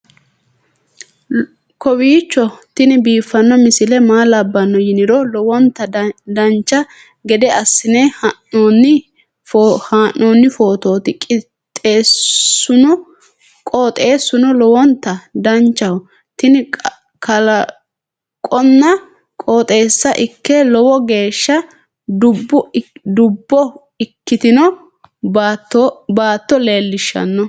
kowiicho tini biiffanno misile maa labbanno yiniro lowonta dancha gede assine haa'noonni foototi qoxeessuno lowonta danachaho. tini kalaqonna qoxeessa ikke lowo geeshsha dubbo ikkitino baatto lellishshanno